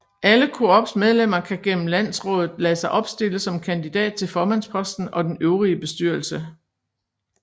Alle Coops medlemmer kan gennem landsrådet lade sig opstille som kandidat til formandsposten og den øvrige bestyrelse